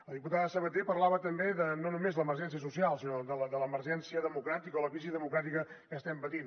la diputada sabater parlava també de no només l’emergència social sinó de l’emergència democràtica o la crisi democràtica que estem patint